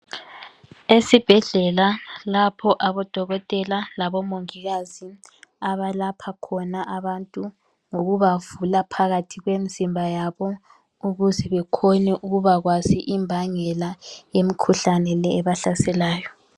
Esibhedlela lapho abodokotela labomongikazi abalapha khona abantu ngokuba vula phakathi kwemzimba yabo ukuze bekhone ukubakwazi imbangela yemikhuhlane le ebahlaselayo.